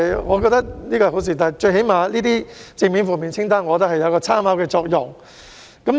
我認為這是好事，正面及負面清單至少具有參考作用。